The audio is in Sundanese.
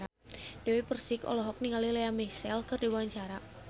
Dewi Persik olohok ningali Lea Michele keur diwawancara